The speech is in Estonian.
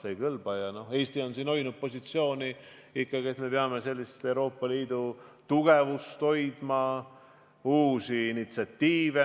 Eesti on siin ikkagi hoidnud positsioon, et me peame Euroopa Liidu tugevust hoidma.